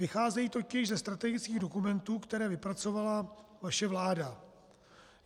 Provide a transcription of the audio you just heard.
Vycházejí totiž ze strategických dokumentů, které vypracovala vaše vláda.